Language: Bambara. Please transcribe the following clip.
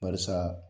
Barisa